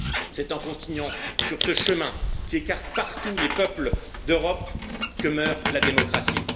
C'est en continuant sur ce chemin qui écarte partout les peuples d'Europe que meurt la démocratie.